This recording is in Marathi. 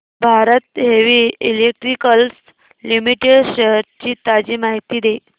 Bharat heavy electricals limited shares ची ताजी माहिती दे